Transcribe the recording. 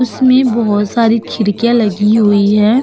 उसमे बोहो सारी खिरकीया लगी हुई है।